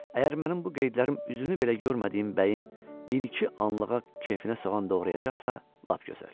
Əgər mənim bu qeydlərim üzünü belə görmədiyim bəyin bir-iki anlığa kefinə soğan doğrayacaqsa, lap gözəl.